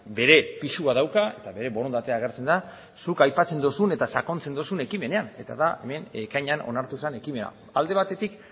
bere pisua dauka eta bere borondatea agertzen da zuk aipatzen duzun eta sakontzen duzun ekimenean eta da hemen ekainean onartu zen ekimena alde batetik